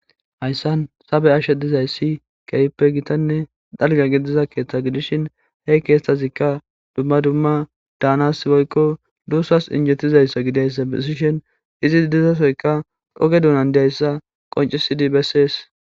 Haysan ta bea'she dizaysi kehippe dalga gidiza keththa gidishin he kethazika duma duma danas dusas injetizaysa gidishi dusas oge donan dizaysa beses